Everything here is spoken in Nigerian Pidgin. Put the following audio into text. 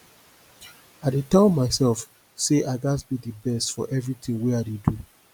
i dey tell myself say i gats be the best for everything wey i dey do